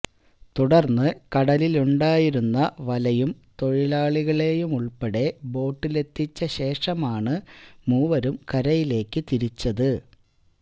തുടര്ന്ന് കടലിലുണ്ടായിരുന്ന വലയും തൊഴിലാളികളെയുമുള്പ്പെടെ ബോട്ടിലെത്തിച്ച ശേഷമാണ് മൂവരും കരയിലേക്ക് തിരിച്ചത്